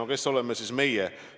No kes oleme siis meie?